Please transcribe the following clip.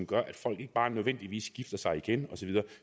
gør at folk ikke bare nødvendigvis gifter sig igen